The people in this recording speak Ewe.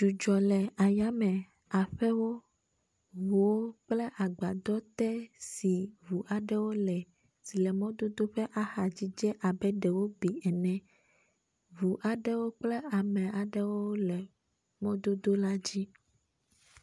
Dzudzɔ le ayame aƒewo, ŋuwo kple agbadɔ te si ŋu aɖewo le emɔdodo ƒe axadzi dze abe ɖe wo bi ene. Ŋu aɖewo kple ame aɖewo le mɔdodo la dzi.